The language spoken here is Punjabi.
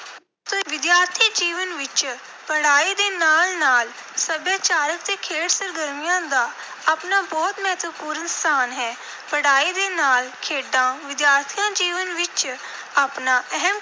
ਵਿਦਿਆਰਥੀ ਜੀਵਨ ਵਿੱਚ ਪੜ੍ਹਾਈ ਦੇ ਨਾਲ ਨਾਲ ਸੱਭਿਆਚਾਰਕ ਅਤੇ ਖੇਡ ਸਰਗਰਮੀਆਂ ਦਾ ਆਪਣਾ ਬਹੁਤ ਮਹੱਤਵਪੂਰਨ ਸਥਾਨ ਹੈ। ਪੜ੍ਹਾਈ ਦੇ ਨਾਲ ਖੇਡਾਂ ਵਿਦਿਆਰਥੀ ਜੀਵਨ ਵਿੱਚ ਆਪਣਾ ਅਹਿਮ